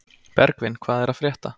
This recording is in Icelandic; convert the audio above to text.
Bergvin, hvað er að frétta?